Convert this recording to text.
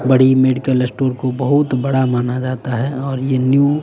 बड़ी medical store को बहुत बड़ा माना जाता है और ये न्यू --